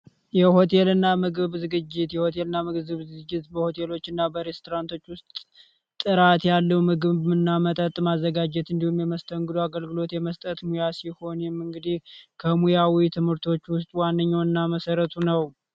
የሆቴል እና ምግብ ዝግጅትና ምግብ ዝግጅት በሆቴሎች እና በኤርትራንቶች ውስጥ ጥራት ያለው ምግብ ምናመጠጥ ማዘጋጀት እንዲሁም የመስተንግዶ አገልግሎት የመስጠት ሙያ ሲሆኑ የመንገዴ ከሙያዊ ትምህርቶች ውስጥ ዋነኛውና መሠረቱ ነው